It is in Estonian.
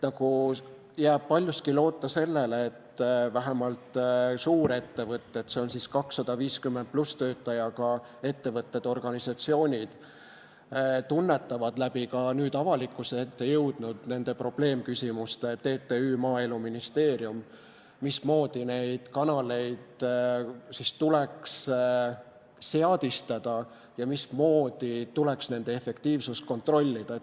Jääbki üle paljuski loota sellele, et vähemalt suurettevõtted, st üle 250 töötajaga ettevõtted-organisatsioonid, tunnetavad ka nüüd läbi avalikkuse ette jõudnud probleemküsimuste – TTÜ, Maaeluministeerium –, mismoodi neid kanaleid siis tuleks seadistada ja mismoodi tuleks nende efektiivsust kontrollida.